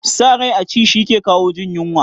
Sa rai a ci shi ke kawo jin yunwa